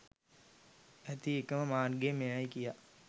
ඇති එකම මාර්ගය මෙයයි කියා